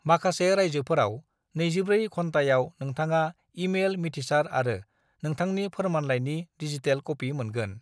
माखासे रायजोफोराव 24 घन्टायाव नोंथाङा ई-मेल मिथिसार आरो नोंथांनि फोरमानलाइनि डिजिटेल कपि मोनगोन।